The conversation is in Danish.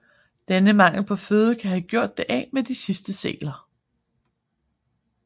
Denne mangel på føde kan have gjort det af med de sidste sæler